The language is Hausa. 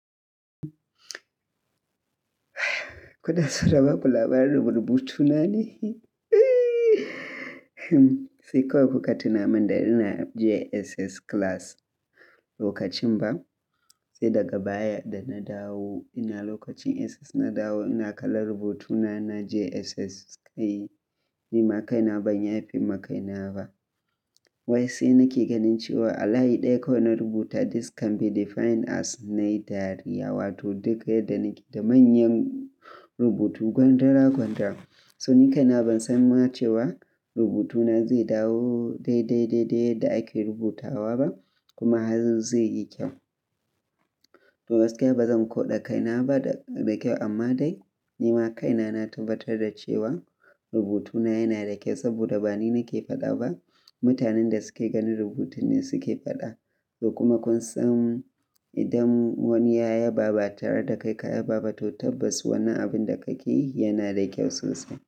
Kuna so na ba ku labarin rubutu na ne? Sai kawai kuka tuna min da ina JSS class lokacin ba, sai daga baya da na dawo ina lokacin SS na dawo ina kalla rubutuna na JSS. Kai, ni ma kaina ban yafi ma kaina ba. Wai sai nake ganin cewa a layi ɗaya kawai na rubuta "This can be defined as" nayi dariya, wato duk yarda nake da manyan rubutu gwandara gwandara. So ni kaina ban san ma cewa rubutuna zai dawo daidai daidai yadda ake rubutawa ba, kuma har zai yi kyau. To gaskiya ba zan koɗa kaina ba da kyau amma dai ni ma kaina na tabbatar da cewa rubutuna yana da kyau saboda ba ni nake faɗa ba, mutanen da suke gani rubutin ne suke faɗa. To kuma kun san idan wani yaya ba ba tare da kai ka yaba ba, to tabbas wannan abin da kake yi yana da kyau sosai.